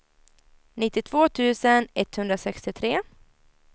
nittiotvå tusen etthundrasextiotre